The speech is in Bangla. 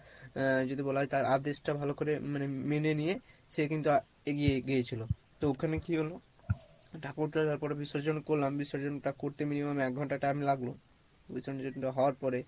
আহ যদি বলা হয় তার আদেশ টা ভালো করে মানে মেনে নিয়ে সে কিন্তু এগিয়ে গিয়েছিলো তো ওখানে কী হলো, ঠাকুর টা তারপরে বিসর্জন করলাম বিসর্জন টা করতে minimum এক ঘন্টা time লাগলো বিসর্জন টা হওয়ার পরে